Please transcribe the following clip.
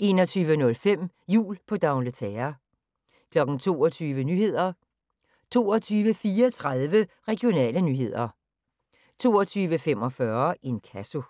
21:05: Jul på D'Angleterre 22:00: Nyhederne 22:34: Regionale nyheder 22:45: Inkasso